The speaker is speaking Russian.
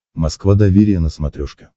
москва доверие на смотрешке